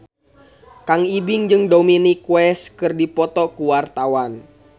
Kang Ibing jeung Dominic West keur dipoto ku wartawan